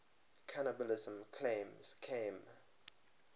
cannibalism claims came